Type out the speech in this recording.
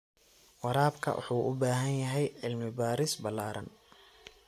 Waraabka wuxuu u baahan yahay cilmi baaris ballaaran.